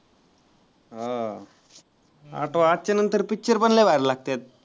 हा. आठच्या नंतर picture पण लय भारी लागतात.